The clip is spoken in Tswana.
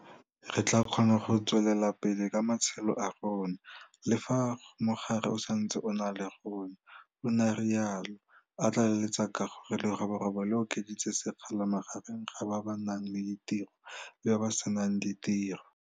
Re tla kgona go tswelela pele ka matshelo a rona, le fa mogare o sa ntse o na le rona, o ne a rialo, a tla leletsa ka gore leroborobo le okeditse sekgala magareng ga ba ba nang le ditiro le ba ba se nang ditiro.